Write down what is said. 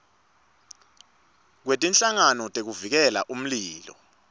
kwetinhlangano tekuvikela umlilo